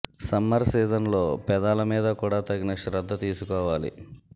summer season లో పెదాల మీద కూడా తగిన శ్రద్ద తీసుకోవాలి